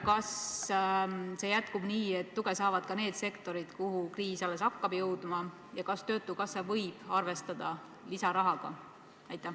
Kas see jätkub nii, et tuge saavad ka need sektorid, kuhu kriis alles hakkab jõudma, ja kas töötukassa võib arvestada lisarahaga?